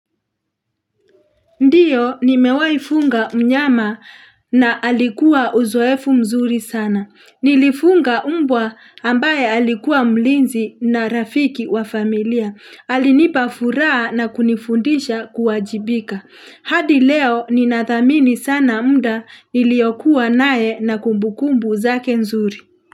Ndiyo nimewaifunga mnyama na alikuwa uzoefu mzuri sana. Nilifuga umbwa ambaye alikuwa mlinzi na rafiki wa familia. Alinipa furaha na kunifundisha kuwajibika. Hadi leo ninathamini sana mda iliokuwa nae na kumbukumbu zake nzuri.